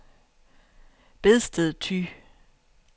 Bedsted Thy